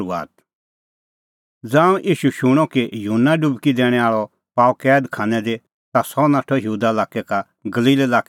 ज़ांऊं ईशू शूणअ कि युहन्ना डुबकी दैणैं आल़अ पाअ कैद खानै दी ता सह नाठअ यहूदा लाक्कै का गलील लाक्कै लै फिरी